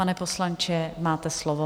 Pane poslanče, máte slovo.